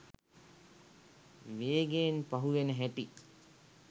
වේගයෙන් පහුවෙන හැටි